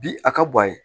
Bi a ka bɔ a ye